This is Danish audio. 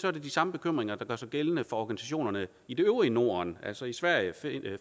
er det de samme bekymringer der gør sig gældende for organisationerne i det øvrige norden altså i sverige